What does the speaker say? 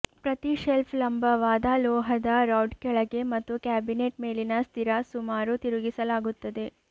ಪ್ರತಿ ಶೆಲ್ಫ್ ಲಂಬವಾದ ಲೋಹದ ರಾಡ್ ಕೆಳಗೆ ಮತ್ತು ಕ್ಯಾಬಿನೆಟ್ ಮೇಲಿನ ಸ್ಥಿರ ಸುಮಾರು ತಿರುಗಿಸಲಾಗುತ್ತದೆ